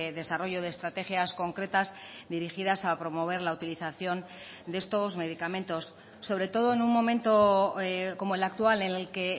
desarrollo de estrategias concretas dirigidas a promover la utilización de estos medicamentos sobre todo en un momento como el actual en el que